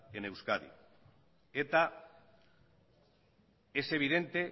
en euskadi eta es evidente